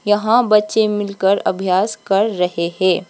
यहां बच्चे मिलकर अभ्यास कर रहे है।